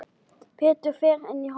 Pétur fer inn í horn.